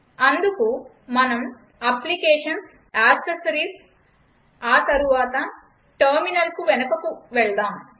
అందుకు మనం Applications gtAccessoriesకు ఆ తరువాత టెర్మినల్కు వెనుకకు వెళదాం